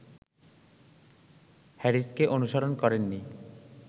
হ্যারিসকে অনুসরণ করেননি